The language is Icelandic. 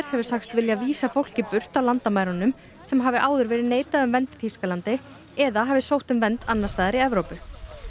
hefur sagst vilja vísa fólki burt á landamærunum sem hafi áður verið neitað um vernd í Þýskalandi eða hafi sótt um vernd annars staðar i Evrópu